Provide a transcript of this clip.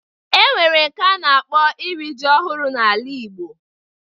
E nwere nke a na-akpọ iri ji ọhụrụ n'ala igbo